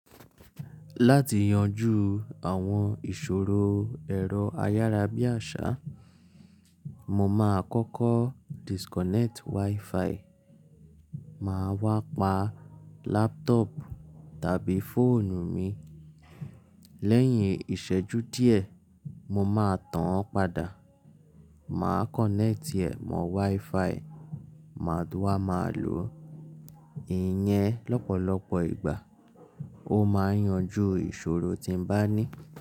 Láti yanjú àwọn ìṣòro ẹ̀rọ ayárabíàṣá, mo máa kọ́kọ́ disconnect wifi, màá wá pa laptop tàbí fóònù mi. Lẹ́yìn ìṣẹ́jú díẹ̀, mo máa tan án padà, màá connect ẹ̀ mọ wifi, màá dúró wa máa lò ó. Ìyẹn lọ́pọ̀lọpọ̀ ìgbà ó máa ń yanjú ìṣòro tí mo bá ní.